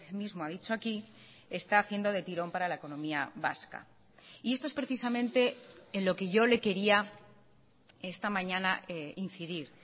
mismo ha dicho aquí está haciendo de tirón para la economía vasca y esto es precisamente en lo que yo le quería esta mañana incidir